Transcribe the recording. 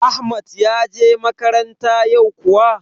Ahmad ya je makaranta yau kuwa?